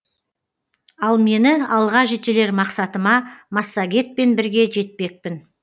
ал мені алға жетелер мақсатыма массагетпен бірге жетпекпін